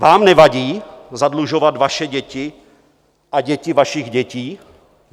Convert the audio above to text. Vám nevadí zadlužovat vaše děti a děti vašich dětí?